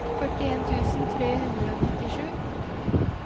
førtien tusen tre hundre og nittisju